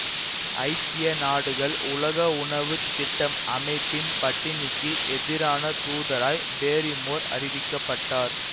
ஐக்கிய நாடுகள் உலக உணவு திட்டம் அமைப்பின் பட்டினிக்கு எதிரான தூதராய் பேரிமோர் அறிவிக்க பட்டார்